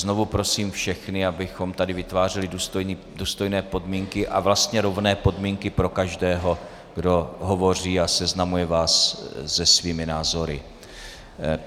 Znovu prosím všechny, abychom tady vytvářeli důstojné podmínky a vlastně rovné podmínky pro každého, kdo hovoří a seznamuje vás se svými názory.